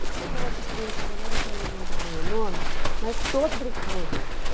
E tinha outras crianças agora que eu não lembro bem o nome, mas todos brincavam juntos.